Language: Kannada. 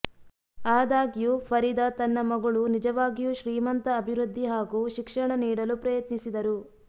ಆದಾಗ್ಯೂ ಫರೀದಾ ತನ್ನ ಮಗಳು ನಿಜವಾಗಿಯೂ ಶ್ರೀಮಂತ ಅಭಿವೃದ್ಧಿ ಹಾಗೂ ಶಿಕ್ಷಣ ನೀಡಲು ಪ್ರಯತ್ನಿಸಿದರು